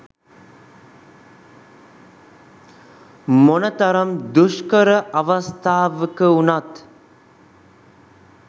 මොන තරම් දුෂ්කර අවස්ථාවක වුණත්